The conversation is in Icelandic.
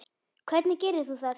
Hvernig gerir þú það?